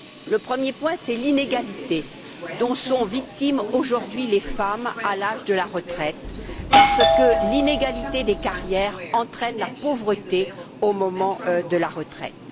Le premier point, c'est l'inégalité dont sont victimes aujourd'hui les femmes à l'âge de la retraite parce que l'inégalité des carrières entraîne la pauvreté au moment de la retraite.